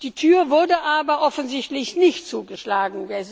Die Tür wurde aber offensichtlich nicht zugeschlagen.